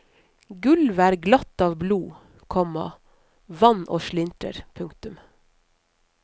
Gulvet er glatt av blod, komma vann og slintrer. punktum